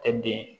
Tɛ den